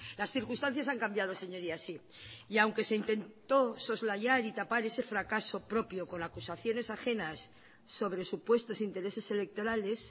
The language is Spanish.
las circunstancias han cambiado señorías sí y aunque se intentó soslayar y tapar ese fracaso propio con acusaciones ajenas sobre supuestos intereses electorales